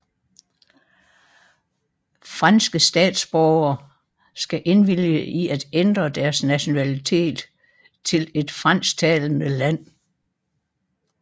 Franske statsborgere skal indvilge i at ændre deres nationalitet til et fransktalende land